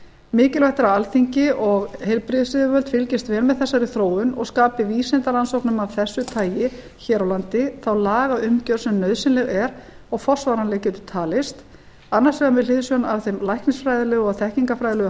mikilvægt er að alþingi og heilbrigðisyfirvöld fylgist vel með þessari þróun og skapi vísindarannsóknum af þessu tagi hér á landi þá lagaumgjörð sem nauðsynleg er og forsvaranleg getur talist annars vegar með hliðsjón af þeim læknisfræðilegu og þekkingarfræðilegu